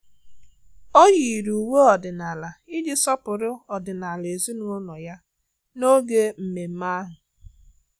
Ọ́ yìrì uwe ọ́dị́nála iji sọ́pụ́rụ́ ọ́dị́nála ezinụlọ ya n’ógè mmemme ahụ.